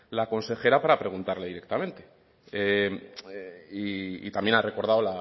la consejera para preguntarle directamente y también ha recordado